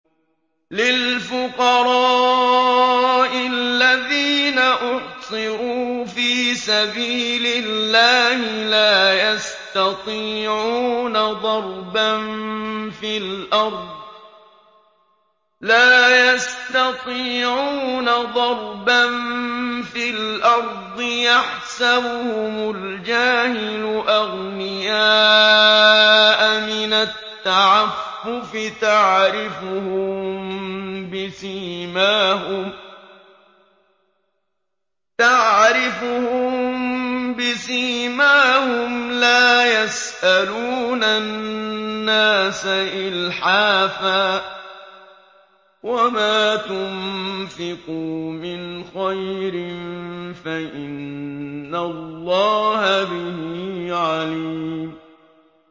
لِلْفُقَرَاءِ الَّذِينَ أُحْصِرُوا فِي سَبِيلِ اللَّهِ لَا يَسْتَطِيعُونَ ضَرْبًا فِي الْأَرْضِ يَحْسَبُهُمُ الْجَاهِلُ أَغْنِيَاءَ مِنَ التَّعَفُّفِ تَعْرِفُهُم بِسِيمَاهُمْ لَا يَسْأَلُونَ النَّاسَ إِلْحَافًا ۗ وَمَا تُنفِقُوا مِنْ خَيْرٍ فَإِنَّ اللَّهَ بِهِ عَلِيمٌ